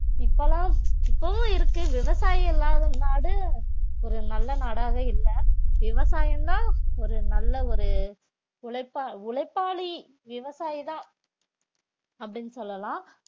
இப்பெல்லாம் இப்பவும் இருக்கு விவசாயம் இல்லாத நாடு ஒரு நல்ல நாடாவே இல்ல விவசாயம்தான் ஒரு நல்ல ஒரு உழைப்பா~ உழைப்பாளி விவசாயிதான் அப்படின்னு சொல்லலாம்